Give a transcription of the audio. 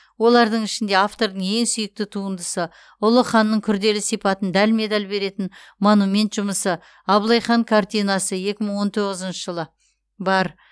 олардың ішінде автордың ең сүйікті туындысы ұлы ханның күрделі сипатын дәлме дәл беретін монумент жұмысы абылай хан картинасы екі мың он тоғызыншы жылы бар